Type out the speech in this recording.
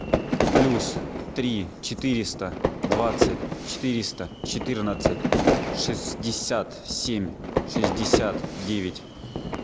плюс три четыреста двадцать четыреста четырнадцать шестьдесят семь шестьдесят девять